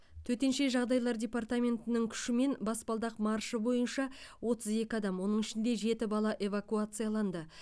төтенше жағдайлар департаментінің күшімен баспалдақ маршы бойынша отыз екі адам оның ішінде жеті бала эвакуацияланды